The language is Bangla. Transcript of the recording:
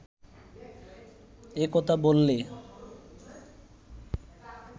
এ কথা বললে